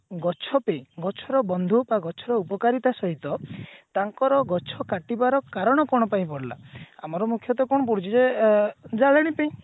ଗଛ ପେଇଁ ଗଛ ର ବନ୍ଧୁ ବା ଗଛର ଉପକାରିତା ସହିତ ତାଙ୍କର ଗଛ କଟିବାର କାରଣ କଣ ପାଇଁ ପଡିଲା ଆମର ମୁଖ୍ଯତଃ କଣ ପଡୁଛି ଯେ ଏ ଜାଳେଣୀ ପେଇଁ